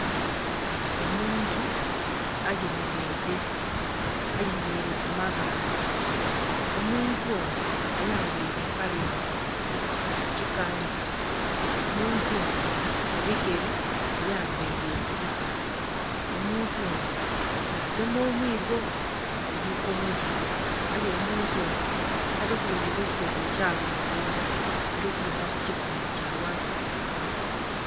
Omuntu ayemerere, ayemerere kumabale . Omuntu ono ayambere empale nimpi yakyikanga, omuntu ono mubigere ayambere esiripa omuntu ono yagema omwiigo mumikonhogye aye omuntu ono talikuboneka ekyitundu ekyaghangulu alibonekaku kyitundu ngaghansi kyonka